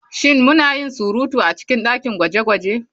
Shin muna yin surutu a cikin dakin gwaje-gwaje?